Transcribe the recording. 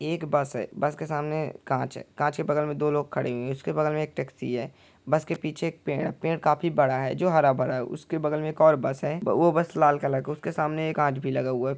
एक बस है। बस के सामने कांच है। कांच के बगल मे दो लोग खड़े हुए हैं। उसके बगल मे एक टैक्सी है। बस के पीछे एक पेड़ है। पेड़ काफी बड़ा है जो हरा-भरा है उसके बगल मे एक और बस है वो बस लाल कलर का है उसके सामने ये कांच भी लगा हुआ है।